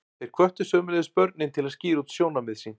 Þeir hvöttu sömuleiðis börnin til að skýra út sjónarmið sín.